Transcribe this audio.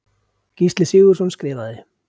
Gísli Sigurðsson skrifaði